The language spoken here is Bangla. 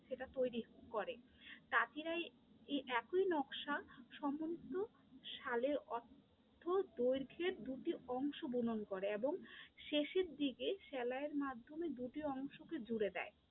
সেটা তৈরী করে, তাঁতিরা এই এতই নকশা সম্মন্ধ শালের অর্থ দৈর্ঘ্যের দুটি অংশ বুনন করে এবং শেষের দিকে সেলাইয়ের মাধ্যমে দুটি অংশকে জুড়ে দেয়।